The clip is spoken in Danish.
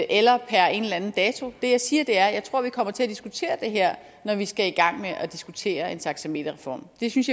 eller per en eller anden dato det jeg siger er at jeg tror vi kommer til at diskutere det her når vi skal i gang med at diskutere en taxameterreform det synes